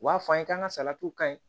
U b'a fɔ an ye k'an ka salatiw ka ɲi